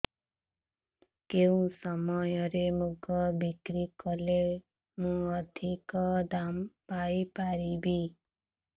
କେଉଁ ସମୟରେ ମୁଗ ବିକ୍ରି କଲେ ମୁଁ ଅଧିକ ଦାମ୍ ପାଇ ପାରିବି